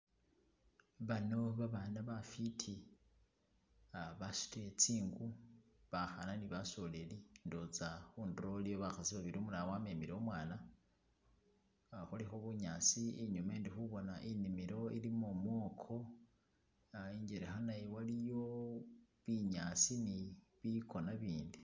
Baano babana bafwiti uh basutile tsingu bakhana ne basoleli, ndowoza khundulo khulikho bakhasi babili, umulala amemele umwana uh khulikho bunyaasi inyuma ndi khubona inimilo ilimo mwoko uh injelekha nayo waliyo bunyaasi ni bikoona ibindi.